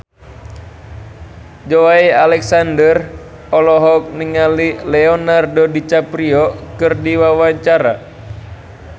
Joey Alexander olohok ningali Leonardo DiCaprio keur diwawancara